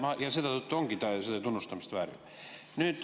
Ei, ja selle tõttu ongi see tunnustamist väärt.